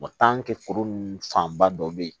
foro nunnu fanba dɔ be yen